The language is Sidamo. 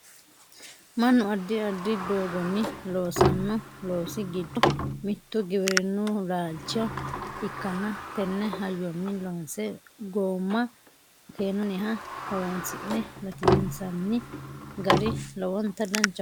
Mannu addi addi doogonni loosanno loosi giddo mittu giwirinnu laalcho ikkanna tenne hayyonni loonse goomma makeenunniha horonsi'ne latinsanni gari lowonta danchaho yaate